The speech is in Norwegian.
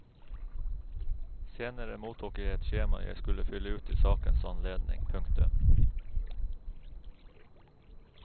Senere mottok jeg et skjema jeg skulle fylle ut i sakens anledning. punktum